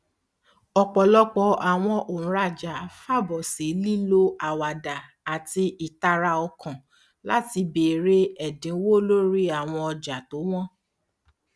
ọpọlọpọ àwọn òǹràjà fàbọ sí lílo àwàdà àti ìtara ọkàn láti bèrè ẹdínwó lorí àwọn ọjà tó wọn